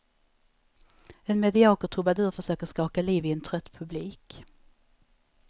En medioker trubadur försöker skaka liv i en trött publik.